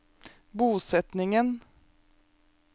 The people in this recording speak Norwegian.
bosetningen